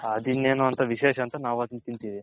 ಅದು ಇನೆನ್ನೋ ವಿಶೇಷ ಅಂತ ನಾವು ಅದನ್ನ ತಿನ್ತಿವಿ .